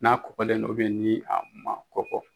N'a kɔkɔlen don, ni a ma kɔkɔ.